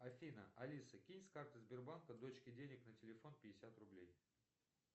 афина алиса кинь с карты сбербанка дочке денег на телефон пятьдесят рублей